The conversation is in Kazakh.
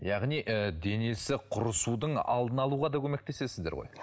яғни ы денесі құрысудың алдын алуға да көмектесесіздер ғой